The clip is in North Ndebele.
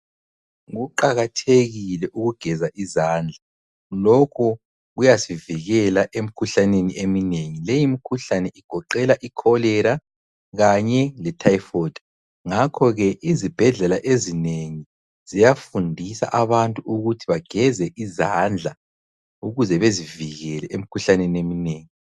Kuqakathekile ukugeza izandla lokho kuyasivikela emikhuhlaneni eminengi, leyi mikhuhlane igoqela i kholera kanye le thayifodi, ngakhoke izibhedlela ezinengi ziyafundisa abantu ukuthi bageze izandla ukuze bezivikele emikhuhlaneni eminengi.